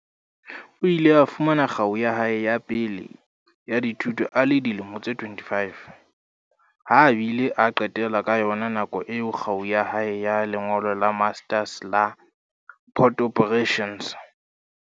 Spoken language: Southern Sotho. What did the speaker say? O ile a fumana kgau ya hae ya pele ya dithuto a le dilemo tse 25, ha a bile a qetela ka yona nako eo kgau ya hae ya lengolo la Master's la Port Operations.